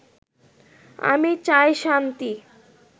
আমি চাই শান্তি